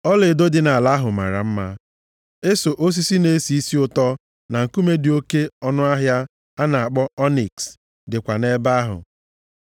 (Ọlaedo dị nʼala ahụ mara mma. Eso osisi na-esi isi ụtọ na nkume dị oke ọnụahịa a na-akpọ ọniks dịkwa nʼebe ahụ.)